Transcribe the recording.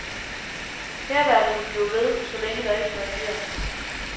Hærværket vil blive ved, så længe der ikke reageres.